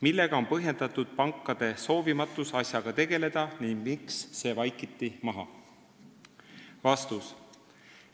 Millega on põhjendatud pankade soovimatus asjaga tegeleda ning miks see vaikiti maha?